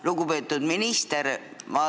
Lugupeetud minister!